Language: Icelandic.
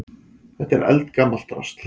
Þetta er eldgamalt drasl.